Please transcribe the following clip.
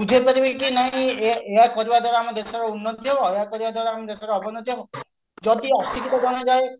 ବୁଝେଇ ପାରିବେ କି ନାହିଁ ଏହା ଏହା କରିବା ଦ୍ଵାରା ଆମ ଦେଶର ଉନ୍ନତି ହବ ଆଉ ଏହା କରିବା ଦ୍ଵାରା ଆମ ଦେଶର ଅବନତି ହବ ଯଦି ଅଶିକ୍ଷିତ ଜଣେ ଯାଏ